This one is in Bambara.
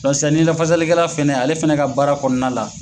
ni lafasali kɛla fɛnɛ ale fɛnɛ ka baara kɔnɔna la